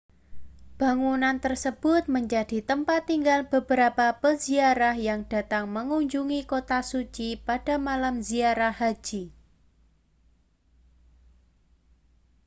bangunan tersebut menjadi tempat tinggal beberapa peziarah yang datang mengunjungi kota suci pada malam ziarah haji